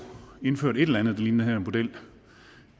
indført et eller andet der ligner den her model